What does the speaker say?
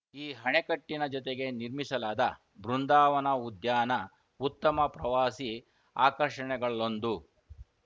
ಈ ಅಣೆಕಟ್ಟಿನ ಜೊತೆಗೆ ನಿರ್ಮಿಸಲಾದ ಬೃಂದಾವನ ಉದ್ಯಾನ ಉತ್ತಮ ಪ್ರವಾಸಿ ಆಕರ್ಷಣೆಗಳಲ್ಲೊಂದು